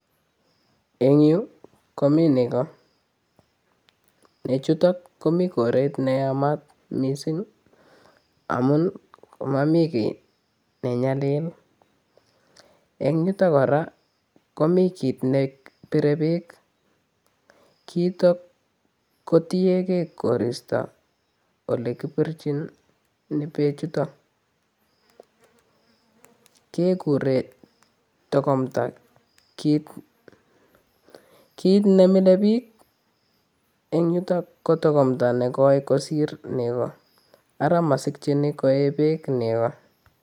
Eng yuu komii nekoo, nechutok komii koret ne yamat mising amuun momii kii ne nyalil, en yuton kora komi kiit nebire beek, kiitok kotieng'e koristo olekibirchin bechutok kekuren tokomta, kiit nemilebik eng yutok ko tokomta nekoi kosir nekoo, araa mosikyin koyee beek nekoo.